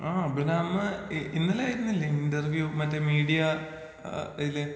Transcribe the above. ആ അഭിരാമ് ഇ ഇന്നലായിരുന്നില്ലെ ഇന്റർവ്യൂ മറ്റെ മീഡിയ ആ ആ അയില്?